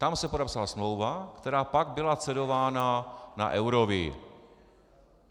Tam se podepsala smlouva, která pak byla cedována na Eurovii.